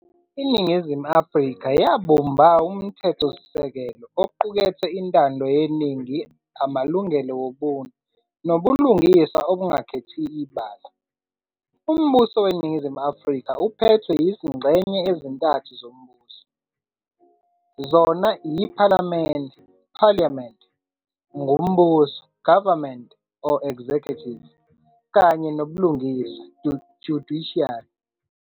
Iningizimu Afrika yabumba umthethosisekelo oqukethe intando yeningi amalungelo wobuntu, nobulungiswa obungakhethi ibala. Umbuso weNningizimu Afrika uphethwe yizingxenye ezintathu zombuso, zona yiphalamende, "Parliament", ngumbuso, "Government", "executive", kanye nobulungiswa, "Judiciary".